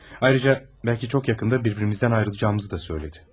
Ayrıca belki çok yakında birbirimizden ayrılacağımızı da söyledi.